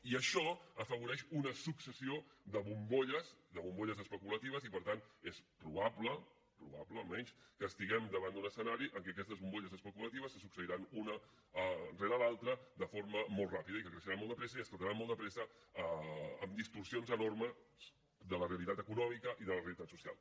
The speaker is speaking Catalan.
i això afavoreix una successió de bombolles de bombolles especulatives i per tant és probable probable almenys que estiguem davant d’un escenari en què aquestes bombolles especulatives se succeiran una rere l’altra de forma molt ràpida i que creixeran molt de pressa i esclataran molt de pressa amb distorsions enormes de la realitat econòmica i de la realitat social